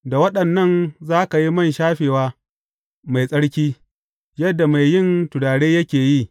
Da waɗannan za ka yi man shafewa mai tsarki, yadda mai yin turare yake yi.